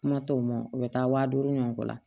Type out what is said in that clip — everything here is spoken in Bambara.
Kuma t'o ma u bɛ taa waa duuru ɲɔgɔn kɔ la